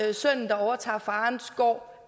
at sønnen overtager farens gård